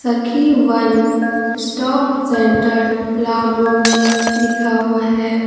सखी one stop centre Palamu लिखा हुआ है।